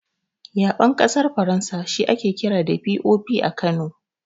Yaɓen ƙasar Faransa shi ake kira da "POP" a Kano.